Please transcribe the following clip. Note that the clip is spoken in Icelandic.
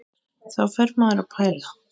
Þá fer maður að pæla.